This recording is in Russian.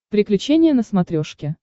приключения на смотрешке